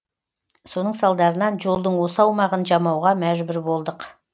соның салдарынан жолдың осы аумағын жамауға мәжбүр болдық